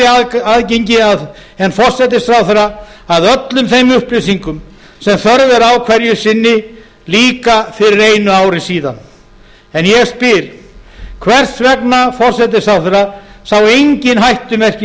betra aðgengi en forsætisráðherra að öllum þeim upplýsingum sem þörf er á hverju sinni líka fyrir einu ári síðan ég spyr hvers vegna forsætisráðherra sá engin hættumerki